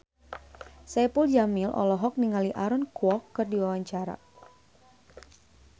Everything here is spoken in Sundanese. Saipul Jamil olohok ningali Aaron Kwok keur diwawancara